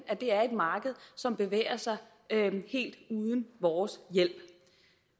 at det er et marked som bevæger sig helt uden vores hjælp